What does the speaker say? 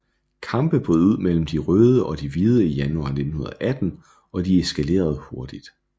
Kampe brød ud mellem de røde og de hvide i januar 1918 og de eskalerede hurtigt